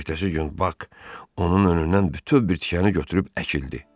Ertəsi gün Bak onun önündən bütöv bir tikəni götürüb əkildi.